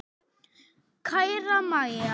Kæra Mæja.